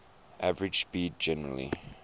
average speed generally